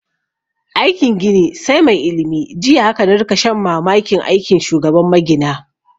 Aikin gini sai mai ilimi, jiya haka na rika shan mamakin aikin shugaban magina